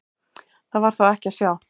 Það var þó ekki að sjá.